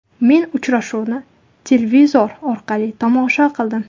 Men uchrashuvni televizor orqali tomosha qildim.